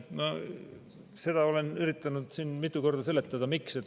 No seda ma olen üritanud siin mitu korda seletada.